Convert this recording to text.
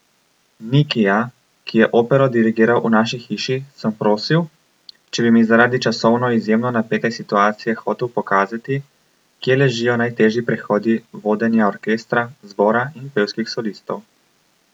Nikija, ki je opero dirigiral v naši hiši, sem prosil, če bi mi zaradi časovno izjemno napete situacije hotel pokazati, kje ležijo najtežji prehodi vodenja orkestra, zbora in pevskih solistov.